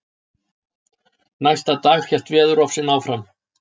Næsta dag hélt veðurofsinn áfram.